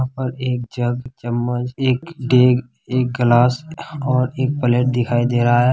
यहाँ एक जग एक चम्मचएक डेक एक ग्लास और एक प्लेट दिखाई दे रहा हैं।